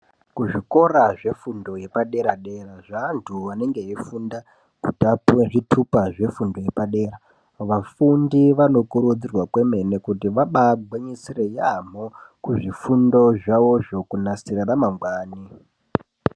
Kuzvikora zvefundo yepaderadera zveanthu anenge eifunda kuti apuwe zvitupa zvefundo yepadera vafundi vanokurudzirwa kwemene kuti vabaagwinyisira yaambho kuzvifundo zvawozvo kunasira ramangwani.